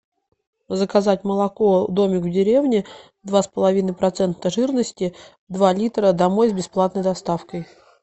заказать молоко домик в деревне два с половиной процента жирности два литра домой с бесплатной доставкой